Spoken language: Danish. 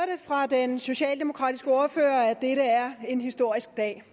fra den socialdemokratiske ordfører at dette er en historisk dag